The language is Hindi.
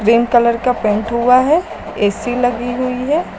क्रीम कलर का पेंट हुआ है ए_सी लगी हुई है।